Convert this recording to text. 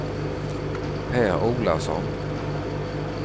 Per Olausson